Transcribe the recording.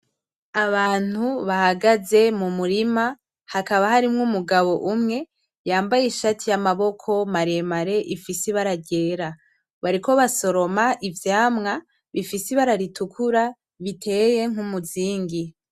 Abantu bahagaze mu murima, hakaba harimwo umugabo umwe yambaye ishati y'amaboko maremare ifise ibara ryera ,bariko basoroma ivyamwa bifise ibara ritukura biteye nk'umuzingi.